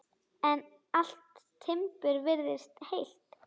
En allt timbur virtist heilt.